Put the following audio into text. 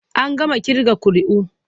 An gama ƙirga ƙuri'u.